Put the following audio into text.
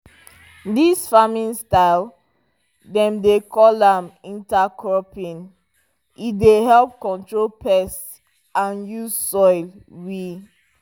dis farming style dem dey call am intercropping e dey help control pests and use soil we